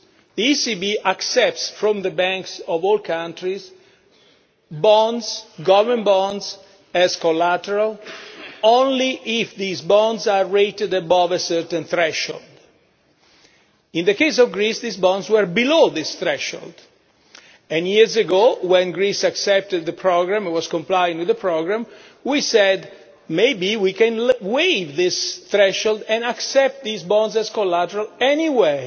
The ECB accepts from the banks of all countries bonds, government bonds, as collateral only if these bonds are rated above a certain threshold. In the case of Greece, these bonds were below this threshold, and years ago, when Greece accepted the programme and was complying with the programme, we said that maybe we can waive this threshold and accept these bonds as collateral anyway.